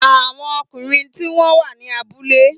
Àwọn ọkùnrin tí wọ́n wà ní abúlé